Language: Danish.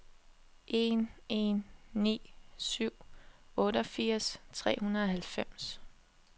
en en ni syv otteogfirs tre hundrede og halvfems